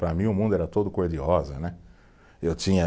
Para mim o mundo era todo cor de rosa, né. Eu tinha